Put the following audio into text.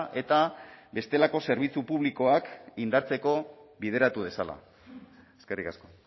eta bestelako zerbitzu publikoak indartzeko bideratu dezala eskerrik asko